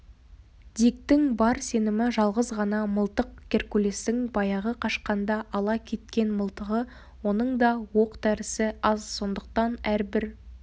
диктің бар сенімі жалғыз ғана мылтық геркулестің баяғы қашқанда ала кеткен мылтығы оның да оқ-дәрісі аз сондықтан әрбір